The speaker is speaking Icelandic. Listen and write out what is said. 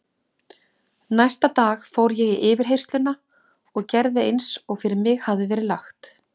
Næsta dag fór ég í yfirheyrsluna og gerði eins og fyrir mig hafði verið lagt.